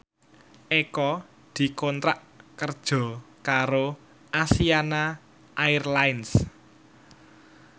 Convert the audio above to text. Eko dikontrak kerja karo Asiana Airlines